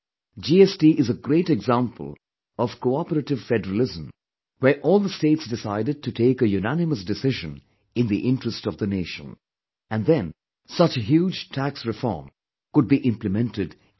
GST is a great example of Cooperative federalism, where all the states decided to take a unanimous decision in the interest of the nation, and then such a huge tax reform could be implemented in the country